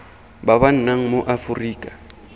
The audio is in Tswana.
ba ba nnang mo aforika